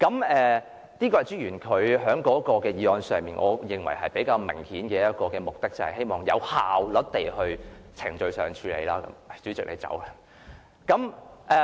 我認為朱議員的議案其中一個較為明顯的目的，就是希望有效率地在程序上作出處理。